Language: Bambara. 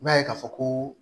I b'a ye k'a fɔ ko